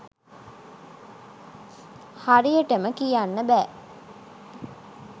හරියටම කියන්න බෑ